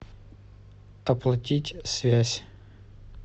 оплатить связь